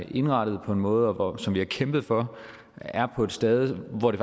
indrettet på en måde og som vi har kæmpet for er på et stade hvor det